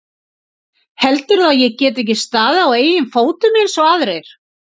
Heldurðu að ég geti ekki staðið á eigin fótum eins og aðrir?